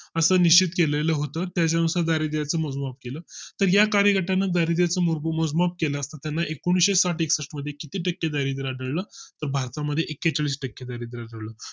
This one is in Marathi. असं निश्चित केलंल होतं त्यानुसार दारिद्याच मोजमाप केल तर या कार्यगटातील दारिद्यातील मोजमाप केला असं त्यांना एकूणशे साठ - एकष्ठ मध्ये किती टक्के दारिद्र्य आढळलं भारता मध्ये एकेचाळीस टक्के दारिद्रय़ आढळलं